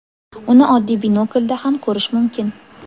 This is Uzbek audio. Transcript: Uni oddiy binoklda ham ko‘rish mumkin.